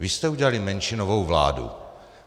Vy jste udělali menšinovou vládu.